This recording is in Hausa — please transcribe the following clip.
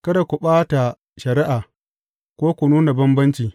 Kada ku ɓata shari’a, ko ku nuna bambanci.